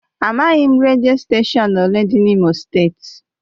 Amaghị m redio steshọn ole dị n'Imo steeti.